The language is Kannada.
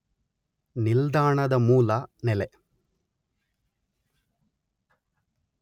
ನಿಲ್ದಾಣದ ಮೂಲ ನೆಲೆ